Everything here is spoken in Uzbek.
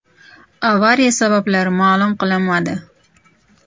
Avariya sabablari ma’lum qilinmadi.